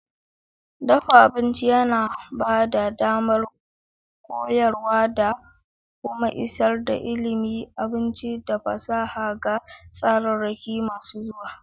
Dafa abinci yana ba da damar koyarwa da kuma isar da ilimin abinci da fasaha ga tsararraki masu zuwa.